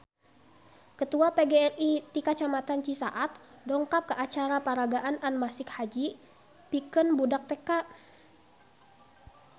Ketua PGRI ti kecamatan Cisaat dongkap ka acara peragaan anmasik haji pikeun budak TK